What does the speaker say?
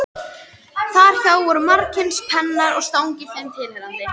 Þar hjá voru margskyns pennar og stangir þeim tilheyrandi.